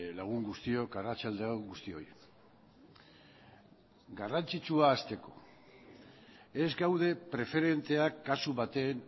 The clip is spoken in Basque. lagun guztiok arratsalde on guztioi garrantzitsua hasteko ez gaude preferenteak kasu baten